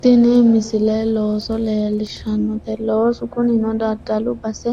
tini misile looso leellishshanoote loosu kunino daddalu base